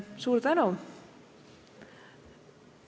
Suur tänu!